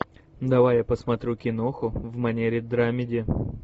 давай я посмотрю киноху в манере драмеди